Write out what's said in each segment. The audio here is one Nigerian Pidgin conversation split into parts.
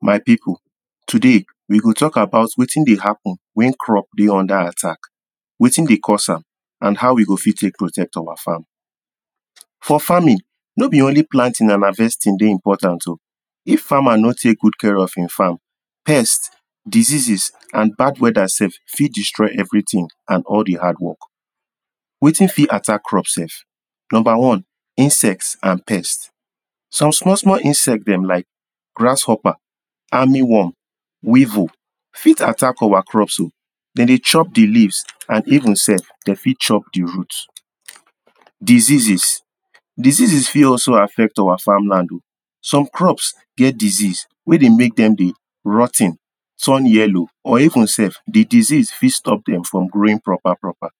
my people today we go talk about wetin deh happen when crop deh under attack wetin deh cause am and how we go fit take protect awa farm for farming no be only planting and harvesting deh important o if farmer no take good care of in farm pest deseases and bad weather sef fit destroy everything and all the hard work wetin fi attack crop sef number one insects and pest some small small insects them like grasshopper armywarm weavel fit attack awa crops o them deh chop the leafs and even sef them fit chop the root diseases diseases fit also affect awa farm land o some crops get disease weh deh make them deh rot ten turn yellow or even sef the disease fit stop them from growing proper proper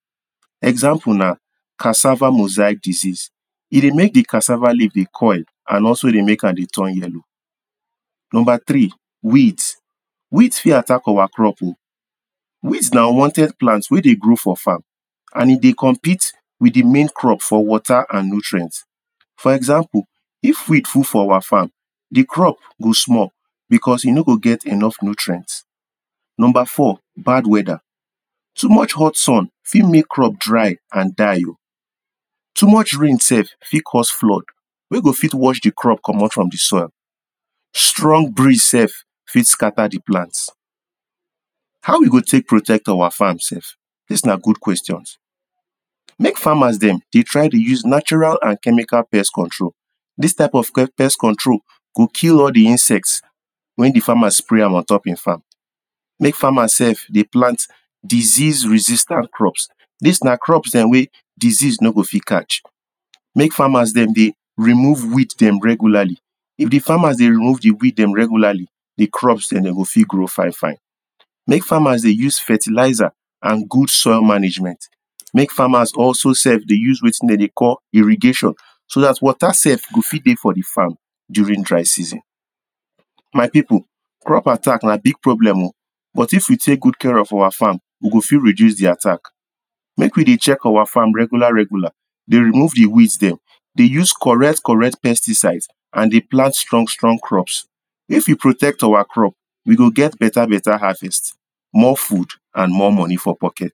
example nah cassava mosaic disease e deh make the cassava leaf deh coil and also deh make am deh turn yellow number three weeds weeds fit attack our crops o weeds nah unwanted plants weh deh grow for farm and e deh compete with the main crop for water and nutrient for example if weed full for our farm the crop go small because e no go get enough nutrient number four bad weather too much hot sun fit make crop dry and die o too much rain sef fit cause flood weh go fit wash the crop commot from the soil strong breeze sef fit scatter the plant how we go take protect awa farm sef this nah good questions make farmers them deh try deh use natural and chemical pest control these type of pest control go kill all the insects when the farmer spray am ontop in farm make farmers sef deh plant disease resistan crops these nah crops them weh disease no go fit catch make farmers them deh deh remove weeds them regularly if the farmers deh remove the weed dem regularly the crops them go fit grow fine fine make farmers deh use fertilizer and good soil management make farmers also sef deh use wetin them deh call irregation so that water sef go fit deh for the farm durin dry season my people crop attack nah big problem o but if we take good care of awa farm we go fit reduce the attack make we deh check our farm regular regular deh remove the weds them deh use correct correct pesticides and deh plant strong strong crops if we protect awa crop we go get better better harvest more food and more money for pocket